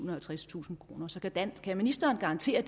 og halvtredstusind kroner så kan ministeren garantere at